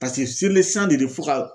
de bɛ fo ka.